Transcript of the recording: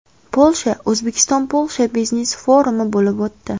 Polsha O‘zbekiston-Polsha biznes-forumi bo‘lib o‘tdi.